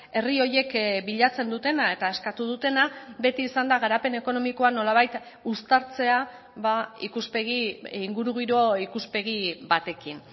herri horiek bilatzen dutena eta eskatu dutena beti izan da garapen ekonomikoa nolabait uztartzea ikuspegi ingurugiro ikuspegi batekin